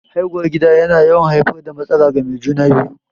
Haihuwar gida yana yawan haifar da matsala ga mai juna-biyu.